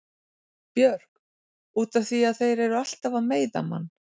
Björk: Út af því að þeir eru alltaf að meiða mann.